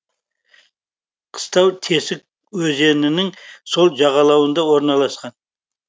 қыстау тесік өзенінің сол жағалауында орналасқан